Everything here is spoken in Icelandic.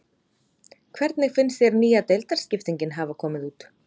Hvernig finnst þér nýja deildarskiptingin hafa komið út?